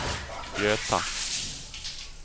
Göta